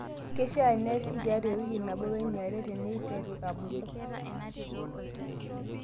Keishaa neesi tiatua ewiki nabo weniare teneiteru aabulu.